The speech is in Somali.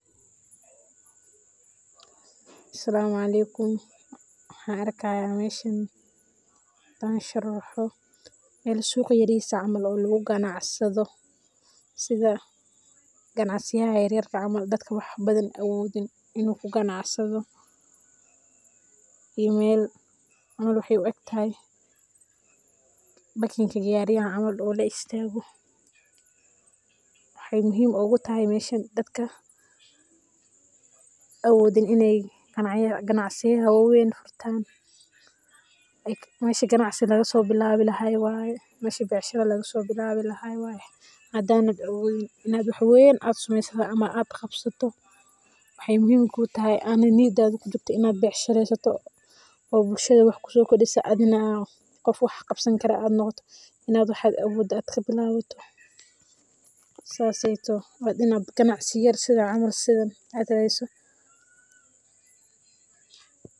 Asalamu aleikum, waxaan arkayaa meeshan hadaan sharaxo suuq yariis ah oo lagu ganacsado sidha ganacsiyaha yariiska ah oo dadka wax badan awoodin inuu ka ganacsado, iyo meel waxaay u egtahay bakinka gaariyaha camal oo laistaago, waxaay muhiim oogu tahay meeshan dadka awoodin inaay ganacsiyaha waweyn furtaan, meeshi ganacsi laga soo bilaabi lahaay wye, meeshi becshira laga bilaabi lahaay wye, hadaadan awoodin in aad wax weyn sameeysid ama aad qabsato waxaay muhiim kuu tahay oo na niyadada kujirto inaad ganacsato oo bulshada wax kusoo kordisa adhigana qof wax qabsan karo noqoto saas aay toho waa inaad ganacsi yar sidha camal aa raadsato.